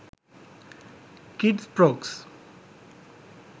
kids frocks